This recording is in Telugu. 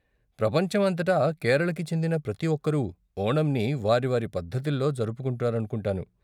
ప్రపంచం అంతటా కేరళకి చెందిన ప్రతి ఒక్కరు ఓణంని వారి వారి పద్ధతిలో జరుపుకుంటారనుకుంటా.